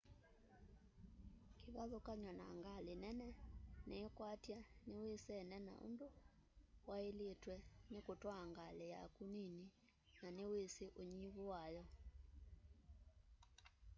kivathukany'o na ngali nene niikwatya niwisene na undu wailitwe ni kutwaa ngali yaku nini na niwisi unyivu wayo